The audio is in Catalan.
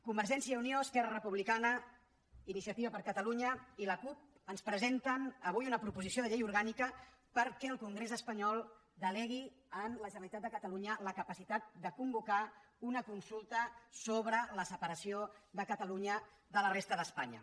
convergència i unió esquerra republicana iniciativa per catalunya i la cup ens presenten avui una proposició de llei orgànica perquè el congrés espanyol delegui en la generalitat de catalunya la capacitat de convocar una consulta sobre la separació de catalunya de la resta d’espanya